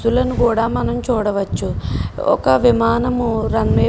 కూడా మనం చూడవచ్చు అలాగే విమానం రన్వే --